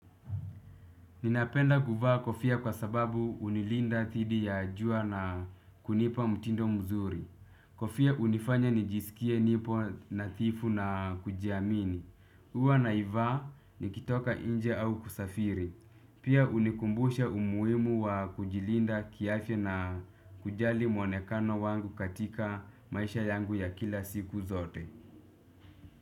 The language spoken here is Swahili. Ninapenda kuvaa kofia kwa sababu unilinda dhidi ya jua na kunipa mtindo mzuri. Kofia unifanya nijisikie nipo nathifu na kujiamini. Huwa naivaa nikitoka inje au kusafiri. Pia unikumbusha umuimu wa kujilinda kiafya na kujali mwonekano wangu katika maisha yangu ya kila siku zote.